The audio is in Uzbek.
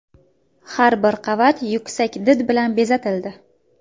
Har bir qavat yuksak did bilan bezatildi.